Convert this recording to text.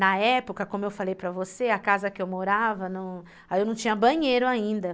Na época, como eu falei para você, a casa que eu morava, aí eu não tinha banheiro ainda.